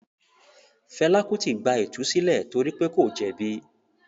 Fela Kuti “ gba ìtúsílẹ̀ torí pé kò jẹ̀bi”.